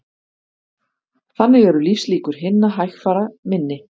Þannig eru lífslíkur hinna hægfara minni